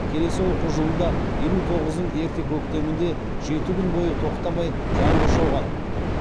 келесі оқу жылында елу тоғыздың ерте көктемінде жеті күн бойы тоқтамай жаңбыр жауған